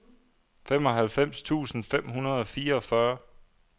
femoghalvfems tusind fem hundrede og fireogfyrre